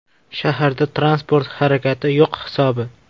Shaharda transport harakati yo‘q hisobi.